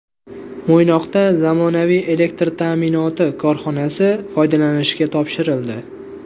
Mo‘ynoqda zamonaviy elektr ta’minoti korxonasi foydalanishga topshirildi.